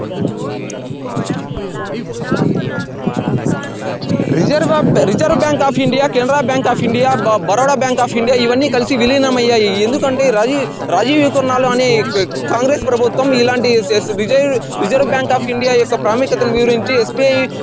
Reserve reserve bank of India Canara bank of India బ Baroda bank of India ఇవన్నీ కలిసి విలీనం అయ్యాయి. ఎందుకంటే రాజీవ్ రాజీవ్ కెనాల్ అనే కాంగ్రెస్ ప్రభుత్వం ఇలాంటివి చేస్తది. రిజర్వు బ్యాంకు అఫ్ ఇండియా ప్రాముఖ్యతను వివరించవచ్చు. స్బి--